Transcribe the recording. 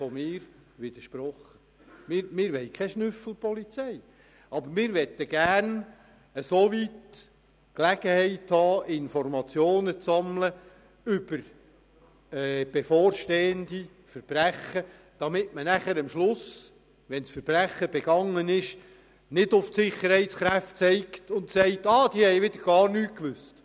Ich widerspreche nun: Wir wollen keine Schnüffelpolizei, aber wir wollen so viele Informationen über bevorstehende Verbrechen sammeln können, dass man am Schluss, wenn das Verbrechen begangen ist, nicht auf die Sicherheitskräfte zeigt und ihnen vorwirft, sie hätten von nichts gewusst.